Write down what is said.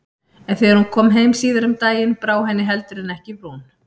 En þegar hún kom heim síðar um daginn brá henni heldur en ekki í brún.